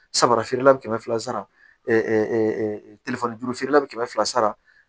Samara feerela bi kɛmɛ fila sara juru feerela bɛ kɛmɛ fila sara